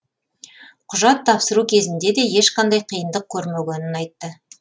құжат тапсыру кезінде де ешқандай қиындық көрмегенін айтты